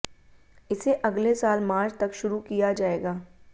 इसे अगले साल मार्च तक शुरू किया जाएगा